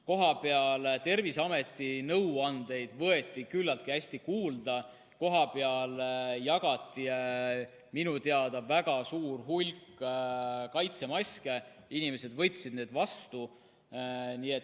Kohapeal võeti Terviseameti nõuandeid küllaltki hästi kuulda, jagati minu teada väga suur hulk kaitsemaske, inimesed võtsid need vastu.